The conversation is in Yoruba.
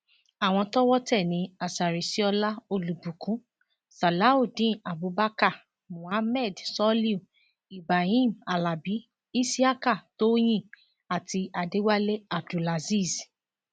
àwọn tọwọ tẹ ní asariṣíọlá olùbùkún sàláùdéen abubakar mohammed soliu ibahim alábi isiaka tóyìn àti adéwálé abdulazeez